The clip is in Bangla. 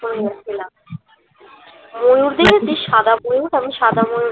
ময়ূর দেখেছিস সাদা ময়ূর আমি সাদা ময়ূর